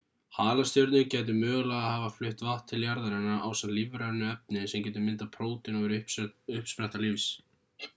halastjörnur gætu mögulega hafa flutt vatn til jarðarinnar ásamt lífrænu efni sem getur myndað prótín og verið uppspretta lífs